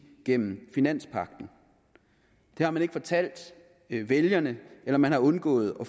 gennem finanspagten det har man ikke fortalt vælgerne eller man har undgået at